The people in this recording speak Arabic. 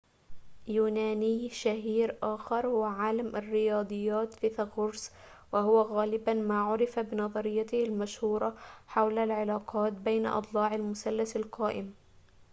يونانيٌ شهيرٌ آخر هو عالم الرياضيات فيثاغورس وهو غالباً ما عُرف بنظريته المشهورة حول العلاقات بين أضلاع المثلث القائم